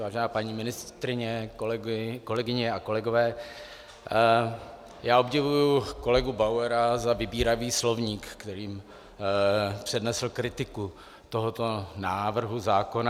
Vážená paní ministryně, kolegyně a kolegové, já obdivuji kolegu Bauera za vybíravý slovník, kterým přednesl kritiku tohoto návrhu zákona.